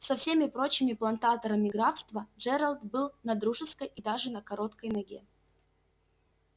со всеми прочими плантаторами графства джералд был на дружеской и даже на короткой ноге